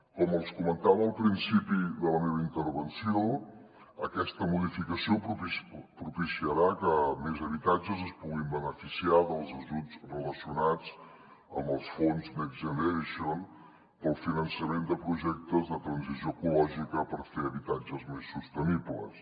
com els comentava al principi de la meva intervenció aquesta modificació propiciarà que més habitatges es puguin beneficiar dels ajuts relacionats amb els fons next generation per al finançament de projectes de transició ecològica per fer habitatges més sostenibles